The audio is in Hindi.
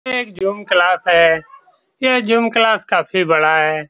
यह एक जूम क्लास है। ये जूम क्लास काफी बड़ा है।